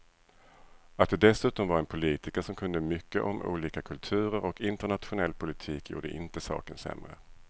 Att det dessutom var en politiker som kunde mycket om olika kulturer och internationell politik gjorde inte saken sämre.